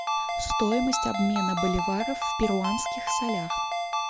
стоимость обмена боливаров в перуанских солях